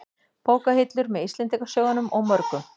Bókahillur, með Íslendingasögunum og mörgum